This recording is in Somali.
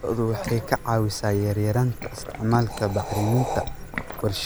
Lo'du waxay ka caawisaa yaraynta isticmaalka bacriminta warshadaha iyagoo isticmaalaya digada.